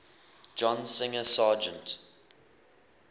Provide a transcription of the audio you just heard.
john singer sargent